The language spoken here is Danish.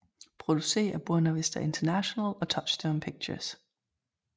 Produceret af Buena Vista International og Touchstone Pictures